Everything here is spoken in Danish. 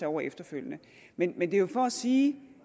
over efterfølgende men men det er jo for at sige